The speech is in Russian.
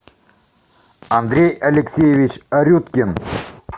андрей алексеевич арюткин